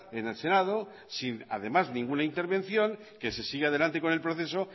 en el senado sin además ninguna intervención que se sigue adelante con el proceso